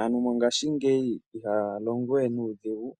Aantu mongashingeyi ihaya longo we nuudhigu